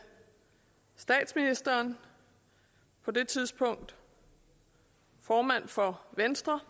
statsministeren på det tidspunkt formand for venstre